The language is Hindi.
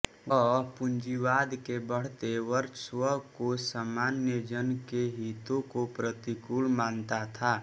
वह पूंजीवाद के बढ़ते वर्चस्व को सामान्यजन के हितों के प्रतिकूल मानता था